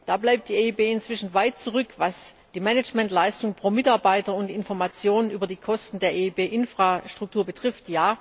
Da bleibt die EIB inzwischen weit zurück, was die Managementleistung pro Mitarbeiter und Informationen über die Kosten der EIB Infrastruktur betrifft.